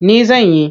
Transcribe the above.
Ni zan yi.